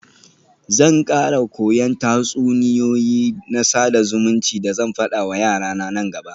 Zan kara koyan tatsuniyoyi na sada zumunci da zan fada wa yarana nan gaba.